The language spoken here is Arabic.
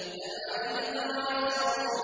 بَلْ عَجِبْتَ وَيَسْخَرُونَ